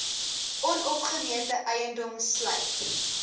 onopgemete eiendom sluit